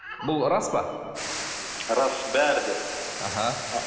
бұл рас па рас бәрі де іхі